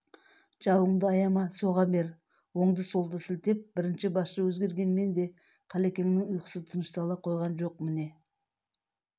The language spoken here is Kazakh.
жауыңды аяма соға бер оңды-солды сілтеп бірінші басшы өзгергенмен де қалекеңнің ұйқысы тыныштала қойған жоқ міне